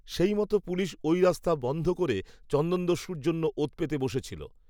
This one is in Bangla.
সেইমতো পুলিশ, ওই রাস্তা বন‌্ধ করে, চন্দনদস্যুর জন্য ওঁত পেতে বসেছিল